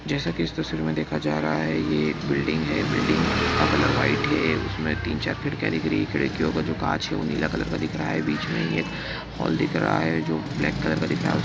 जैसा की इस तस्वीर मैं देखा जा रहा हैं ये एक बिल्डिंग हैं बिल्डिंग का कलर व्हाइट हैं जिसमे तीन-चार खिड़किया दिख रही हैं कांच हैं वह नीला कलर का दिख रहा हैं बीच मैं एक हॉल दिख रहा हैं जो ब्लैक कलर का दिख रहा हैं।